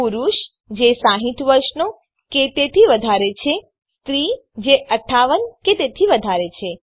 પુરુષ જે ૬૦ વર્ષનો કે તેથી વધારે છે સ્ત્રી જે ૫૮ કે તેથી વધારે છે